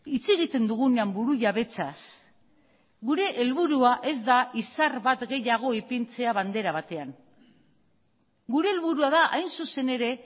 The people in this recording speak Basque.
hitz egiten dugunean burujabetzaz gure helburua ez da izar bat gehiago ipintzea bandera batean gure helburua da hain zuzen ere